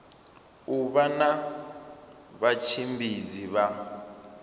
u vha na vhatshimbidzi vha